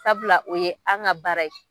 Sabula o ye an ka baara ye.